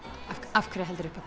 af hverju heldurðu upp á